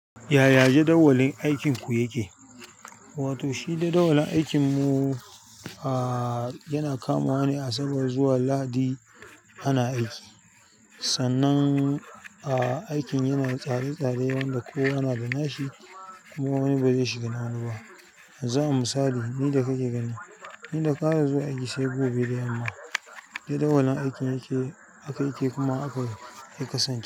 Yaya jadawalin aikinku yake? Wato shi jadawalin aikinmu, ahhh, yana kamuwa ne Asabar zuwa Lahadi ana aiki. Sannan aikin yana tsare-tsare wanda kowa nada nashi kuma na wani ba zai shiga na wani ba yanzu a misali ni da kake gani, ni da ƙara zuwa aiki sai gobe da yamma. Jadawalin aikin yake, aka yake kuma aka ya kasance.